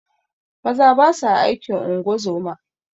Maza basa aikin ungozoma